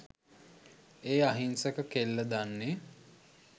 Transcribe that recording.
ඒ අහිංසක කෙල්ල දන්නෙ.